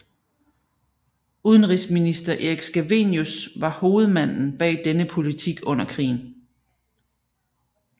Udenrigsminister Erik Scavenius var hovedmanden bag denne politik under krigen